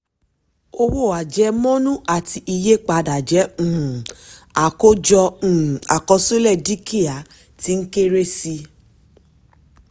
owó àjemọ́nú àti iye padà jẹ́ um àákọ́jọ um àkọsílẹ̀ dúkìá tí ń kéré sí i. um